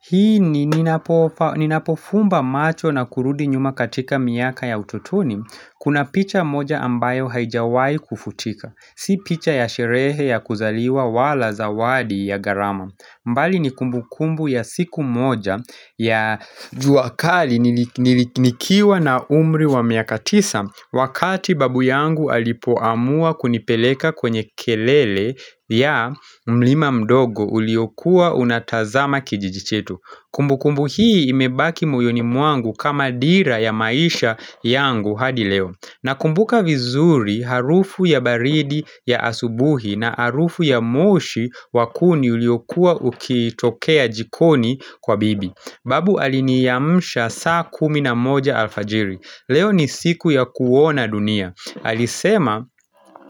Hii ninapofumba macho na kurudi nyuma katika miaka ya utotoni Kuna picha moja ambayo haijawai kufutika. Si picha ya sherehe ya kuzaliwa wala zawadi ya garama. Mbali ni kumbu kumbu ya siku moja ya juakali nilikiwa na umri wa miakatisa Wakati babu yangu alipoamua kunipeleka kwenye kelele ya mlima mdogo uliokua unatazama kijijichetu Kumbu kumbu hii imebaki moyoni mwangu kama dira ya maisha yangu hadi leo Nakumbuka vizuri harufu ya baridi ya asubuhi na harufu ya moshi wakuni uliokua ukitokea jikoni kwa bibi. Babu aliniamsha saa kuminamoja alfajiri. Leo ni siku ya kuona dunia. Alisema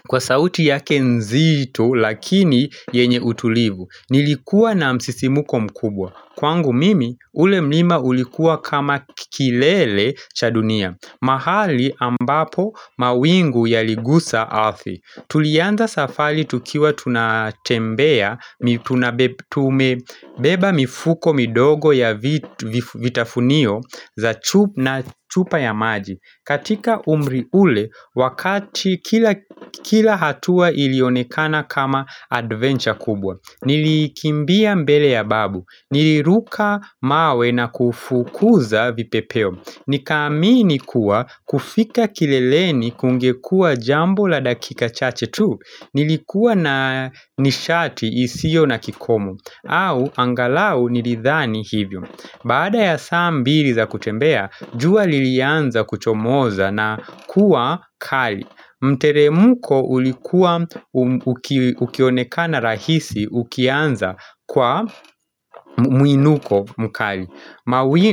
kwa sauti yake nzito lakini yenye utulivu Nilikuwa na msisimuko mkubwa Kwangu mimi ule mlima ulikuwa kama kilele cha dunia mahali ambapo mawingu yaligusa ardhi Tulianza safali tukiwa tunatembea tuna beba mifuko midogo ya vitafunio za chupa na chupa ya maji katika umri ule, wakati kila kila hatua ilionekana kama adventure kubwa Nilikimbia mbele ya babu, niliruka mawe na kufukuza vipepeo Nikaamini kuwa kufika kileleni kungekua jambo la dakika chache tu Nilikuwa na nishati isio na kikomo au angalau nilithani hivyo Baada ya saa mbili za kutembea, jua lilianza kuchomoza na kuwa kali. Mtere mko ulikuwa ukionekana rahisi ukianza kwa muinuko mkali.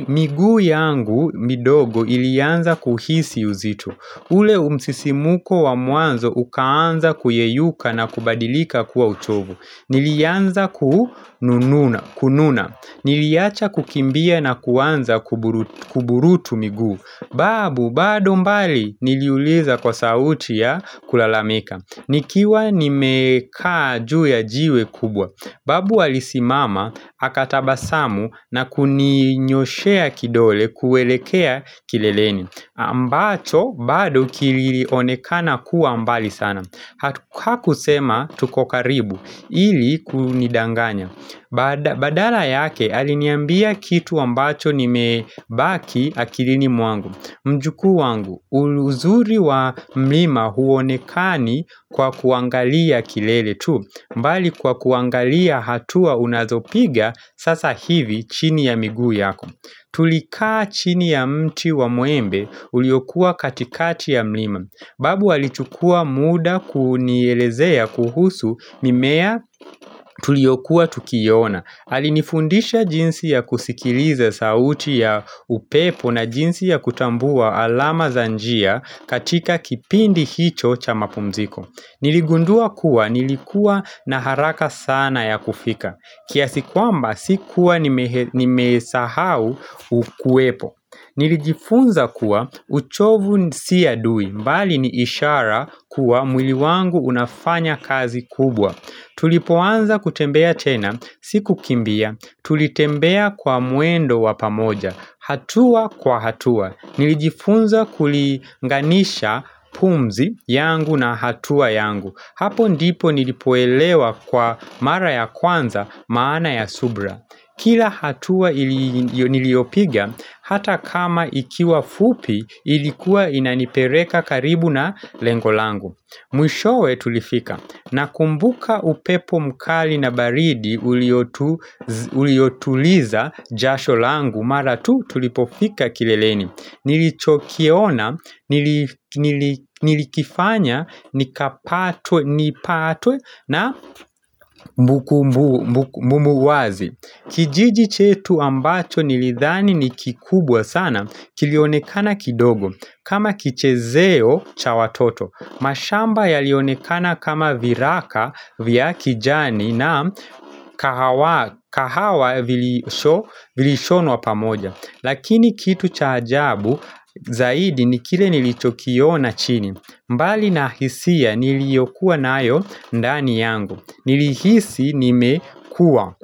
Miguu yangu midogo ilianza kuhisi uzito. Ule umsisi muko wa mwanzo ukaanza kuyeyuka na kubadilika kuwa uchovu. Nilianza kununa. Kununa, niliacha kukimbia na kuanza kuburutu miguu Babu, bado mbali, niliuliza kwa sauti ya kulalamika Nikiwa nimekaa juu ya jiwe kubwa Babu alisimama, akatabasamu na kuninyoshea kidole kuwelekea kileleni ambacho, bado kilionekana kuwa mbali sana Hakusema, tukokaribu, ili kunidanganya Badala yake aliniambia kitu ambacho nime baki akilini mwangu Mjukuu wangu, uzuri wa mlima huonekani kwa kuangalia kilele tu mbali kwa kuangalia hatua unazopiga sasa hivi chini ya miguu yako Tulikaa chini ya mti wa mwembe uliokua katikati ya mlima Babu alichukua muda kunielezea kuhusu mimea tuliyokuwa tukiona Alinifundisha jinsi ya kusikiliza sauti ya upepo na jinsi ya kutambua alama zanjia katika kipindi hicho cha mapumziko Niligundua kuwa nilikua naharaka sana ya kufika Kiasikwamba sikuwa nimesahau ukuepo Nilijifunza kuwa uchovu si adui mbali ni ishara kuwa mwili wangu unafanya kazi kubwa Tulipoanza kutembea tena, siku kimbia, tulitembea kwa mwendo wapamoja hatua kwa hatua, nilijifunza kulinganisha pumzi yangu na hatua yangu Hapo ndipo nilipoelewa kwa mara ya kwanza maana ya subra Kila hatua niliopiga hata kama ikiwa fupi ilikuwa inanipereka karibu na lengolangu Mwishowe tulifika na kumbuka upepo mkali na baridi uliotuliza jasho langu mara tu tulipofika kileleni Nilichokiona nili nilikifanya nipatwe na mbuku mumuwazi kijiji chetu ambacho nilithani ni kikubwa sana kilionekana kidogo kama kichezeo cha watoto. Mashamba yalionekana kama viraka vya kijani na kahawa vilishono wapamoja. Lakini kitu cha ajabu zaidi ni kile nilichokio na chini mbali na hisia niliyokuwa na ayo ndani yangu Nilihisi nime kuwa.